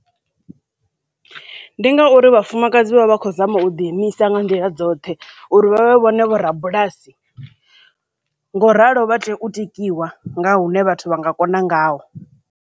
Ndi ngauri Vhafumakadzi vha vha khou zama u ḓi imisa nga nḓila dzoṱhe uri vha vhone vho rabulasi ngoralo vha tea u tikiwa nga hune vhathu vha nga kona ngaho.